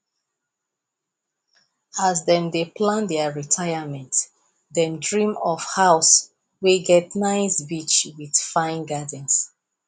as them dey plan their retirement them dream of house wey get nice beach with fine gardens